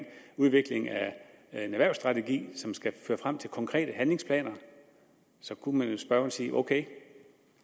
udvikling af en erhvervsstrategi som skal føre frem til konkrete handlingsplaner så kunne spørgeren jo sige ok